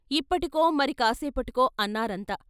ఇప్పటికో మరి కాస్సేపటికో అన్నారంతా.